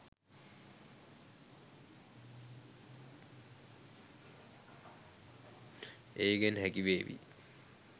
ඒකෙන් හැකිවේවි